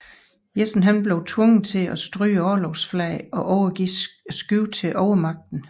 Jessen blev tvunget til at stryge orlogsflaget og overgive skibet til overmagten